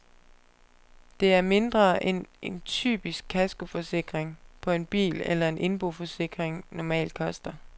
Det er mindre end en typisk kaskoforsikring på en bil eller en indboforsikring normalt koster.